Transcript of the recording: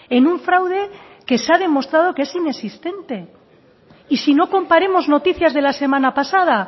en un fraude que se ha demostrado que es inexistente y si no comparemos noticias de la semana pasada